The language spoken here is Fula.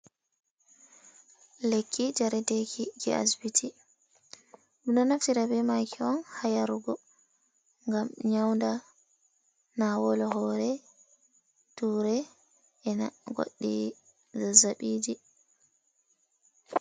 Lekki njaredeeki jey asbiti ɓe ɗo naftira bee maaki on haa yarugo ngam nyawnda naawol hoore, tuure ena goɗɗi zazaɓiiji.